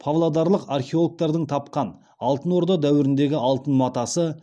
павлодарлық археологтардың тапқан алтын орда дәуіріндегі алтын матасы